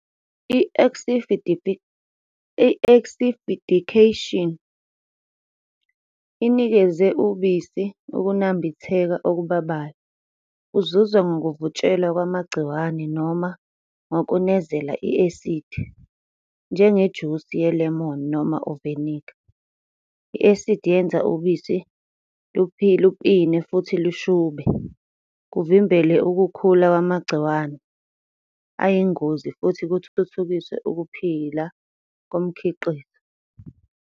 I-acidification, inikeza ubisi ukunambitheka okubabayo, kuzuzwa ngokuvutshelwa kwamagciwane noma ngokunezela i-asidi, njengejusi ye-lemon noma uviniga. I-asidi yenza ubisi lupine futhi lushube, kuvimbele ukukhula kwamagciwane ayingozi futhi kuthuthukiswe ukuphila komkhiqizo.